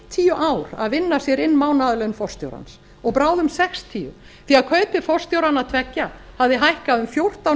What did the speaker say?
fimmtíu ár að vinna sér inn mánaðarlaun forstjórans og bráðum sextíu því að kaup forstjóranna tveggja hafði hækkað um fjórtán